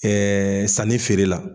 Ɛɛ sanni feerela